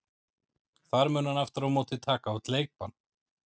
Þar mun hann aftur á móti taka út leikbann.